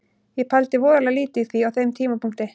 Ég pældi voðalega lítið í því á þeim tímapunkti.